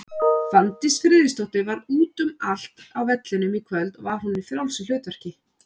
Fanndís Friðriksdóttir var út um allt á vellinum í kvöld, var hún í frjálsu hlutverki?